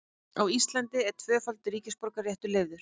Á Íslandi er tvöfaldur ríkisborgararéttur leyfður.